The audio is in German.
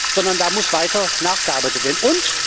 Sondern da muss weiter nachgearbeitet werden.